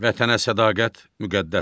Vətənə sədaqət müqəddəsdir.